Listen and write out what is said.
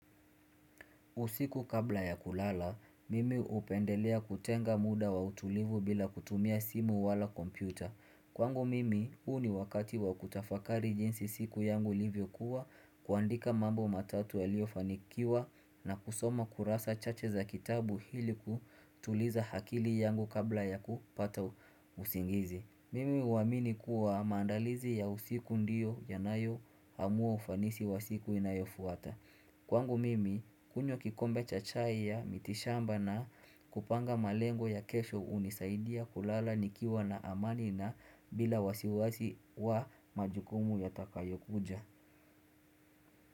Usiku kabla ya kulala, mimi hupendelea kutenga muda wa utulivu bila kutumia simu wala kompyuta. Kwangu mimi, huu ni wakati wa kutafakari jinsi siku yangu livyokuwa kuandika mambo matatu yaliyofanikiwa na kusoma kurasa chache za kitabu ili kutuliza akili yangu kabla ya kupata usingizi. Mimi uamini kuwa maandalizi ya usiku ndiyo yanayoamua ufanisi wa siku inayofuata. Kwangu mimi kunywa kikombe cha chai ya mitishamba na kupanga malengo ya kesho hunisaidia kulala nikiwa na amani na bila wasiwasi wa majukumu ya takayo kuja.